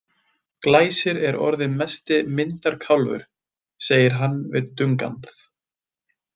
Glæsir er orðinn mesti myndarkálfur, segir hann við Dungað.